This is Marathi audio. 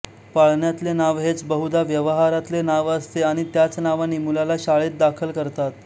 पाळण्यातले नाव हेच बहुधा व्यवहारातले नाव असते आणि त्याच नावाने मुलाला शाळेत दाखल करतात